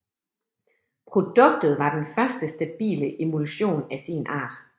Produktet var den første stabile emulsion af sin art